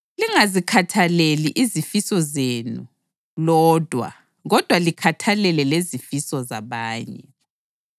lingazikhathaleli izifiso zenu lodwa kodwa likhathalele lezifiso zabanye.